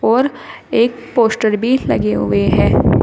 और एक पोस्टर भी लगे हुए है।